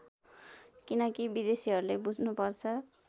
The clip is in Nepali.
किनकी विदेशीहरूले बुझ्नुपर्छ